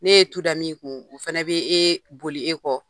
N'e ye tu da min kun, o fɛnɛ be ee boli e kɔ.